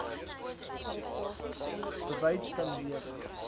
bewys kan lewer